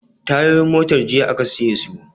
Tayoyin motar jiya aka siye su